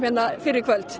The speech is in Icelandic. fyrr í kvöld